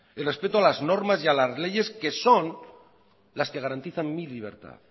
el respeto a las normas y a las leyes que son las que garantizan mi libertad